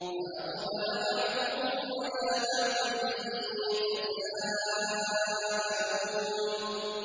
فَأَقْبَلَ بَعْضُهُمْ عَلَىٰ بَعْضٍ يَتَسَاءَلُونَ